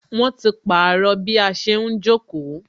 Wọn ti pàrọ̀ bí a ṣe ń jókòó